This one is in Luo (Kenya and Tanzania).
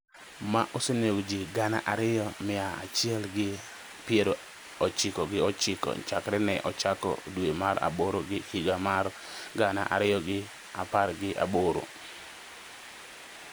ma osenego ji gana ariyo mia achiel gi piero ochiko gi ochiko chakre ne ochako dwe mar aboro higa mar gana ariyo gi apar gi aboro.